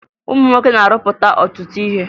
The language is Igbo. Ụmụ nwoke na-arụpụta ọtụtụ ihe